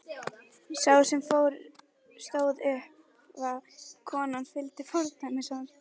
Sá sem fór stóð upp og konan fylgdi fordæmi hans.